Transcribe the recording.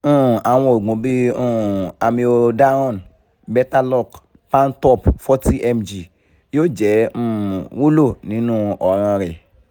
um awọn oogun bii um amiodarone betaloc pantop forty mg yoo jẹ um wulo ninu ọran rẹ